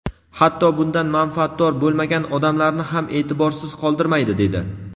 hatto bundan manfaatdor bo‘lmagan odamlarni ham e’tiborsiz qoldirmaydi, dedi.